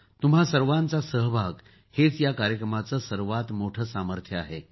तुम्हा सर्वांचा सहभाग हेच या कार्यक्रमाचे सर्वात मोठे सामर्थ्य आहे